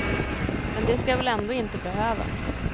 Men det skall väl ändå inte behövas.